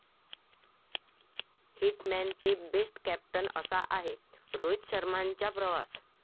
hit man ते best captain, असा आहे रोहित शर्माचा प्रवास